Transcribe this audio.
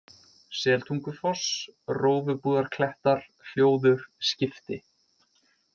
Seltungufoss, Rófubúðarklettar, Hljóður, Skipti